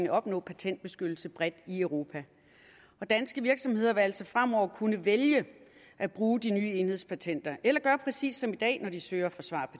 at opnå patentbeskyttelse bredt i europa danske virksomheder vil altså fremover kunne vælge at bruge de nye enhedspatenter eller gøre præcis som i dag når de søger og forsvarer